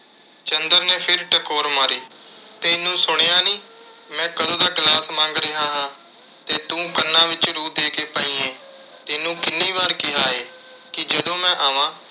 ਚੰਦਰ ਨੇ ਫਿਰ ਟਕੋਰ ਮਾਰੀ। ਤੈਨੂੰ ਸੁਣਿਆ ਨੀਂ, ਮੈਂ ਕਦੋਂ ਦਾ glass ਮੰਗ ਰਿਹਾ ਹਾਂ ਤੇ ਤੂੰ ਕੰਨਾਂ ਵਿੱਚ ਰੂੰ ਦੇ ਕੇ ਪਈ ਏਂ। ਤੈਨੂੰ ਕਿੰਨੀ ਵਾਰ ਕਿਹਾ ਏ, ਕਿ ਜਦੋਂ ਮੈਂ ਆਵਾਂ